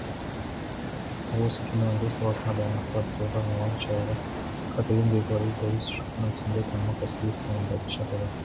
ал осы киноөндіріс саласындағы байланысты арттыруға арналған шараға катаюн беглари борис шульман сынды танымал кәсіби мамандарды шақырған